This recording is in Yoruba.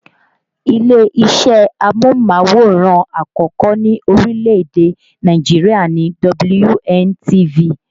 Ilé-isẹ́ amóhùnmáwòrán àkọ́kọ́ ní orílè-èdè Nàìjirià ni WNTV